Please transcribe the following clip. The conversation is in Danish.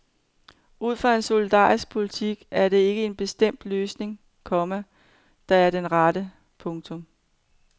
Ud fra en solidarisk politik er der ikke en bestemt løsning, komma der er den rette. punktum